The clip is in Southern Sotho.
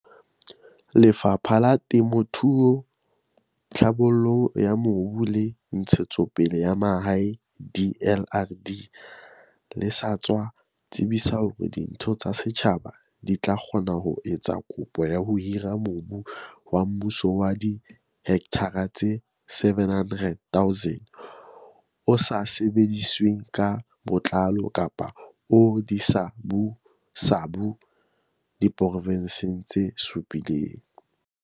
Lefapha la Temo thuo, Tlhabollo ya Mobu le Ntshetsopele ya Mahae, DLRD, le sa tswa tsebisa hore ditho tsa setjhaba di tla kgona ho etsa kopo ya ho hira mobu wa mmuso wa dihekthara tse 700 000 o sa sebedisweng ka botlalo kapa o disabusabu diprovenseng tse supileng.